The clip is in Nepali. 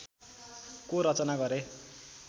को रचना गरे